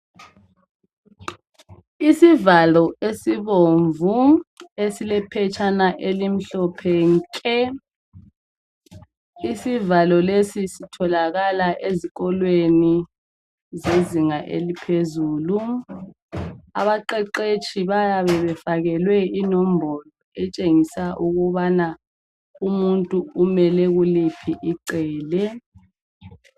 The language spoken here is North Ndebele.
Isivalo esibomvu esilephetshana elimhlophe nke. Isivalo lesi sitholakala ezikolweni zezinga eliphezulu . Abaqeqetshi bayabe befakelwe inombolo etshengisa ukubana umuntu umele kuliphi icele